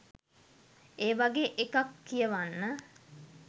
ඒ වගේ එකක් කියවන්න